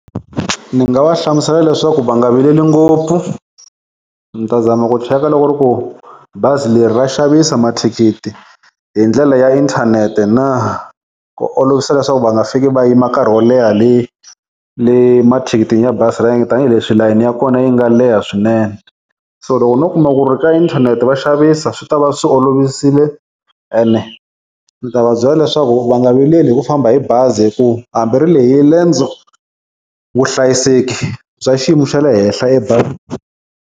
Ni nga va hlamusela leswaku va nga vileli ngopfu, ni ta zama ku cheka loko ri ku bazi leri ra xavisa mathikithi hi ndlela ya inthanete na ku olovisa leswaku va nga fiki va yima nkarhi wo leha le le mathikithini ya bazi tanihileswi layeni ya kona yi nga leha swinene. So loko no kuma ku ri ka inthanete va xavisa swi tava swi olovisile ene ni ta va byela leswaku va nga vileli hi ku famba hi bazi hi ku hambi ri lehile riendzo vuhlayiseki bya xiyimo xa le henhla .